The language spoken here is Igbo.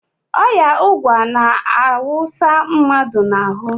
Ọya ụgwa na-awụsa mmadụ n"ahụ.